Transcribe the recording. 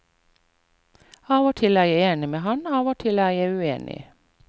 Av og til er jeg enig med ham, av og til er jeg uenig.